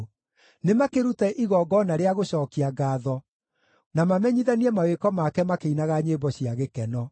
Nĩmakĩrute igongona rĩa gũcookia ngaatho, na mamenyithanie mawĩko make makĩinaga nyĩmbo cia gĩkeno.